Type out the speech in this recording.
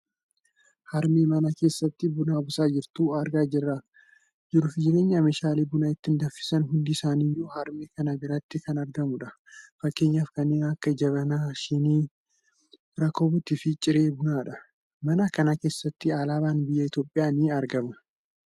harmee mana keessatti buna buusaa jirtu argaa kan jirruufi meeshaaleen buna ittiin danfisan hundi isaa iyyuu harmee kana biratti kan argamudha. fakkeenyaaf kanneen akka jabanaa, shinii, rakabootiifi ciree bunaadha. mana kana keessatti alaabaan biyya Itoopiyaallee ni argama.